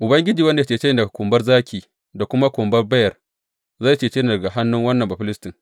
Ubangiji wanda ya cece ni daga kumbar zaki da kuma kumbar beyar, zai cece ni daga hannun wannan Bafilistin.